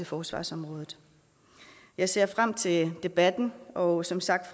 forsvarsområdet jeg ser frem til debatten og som sagt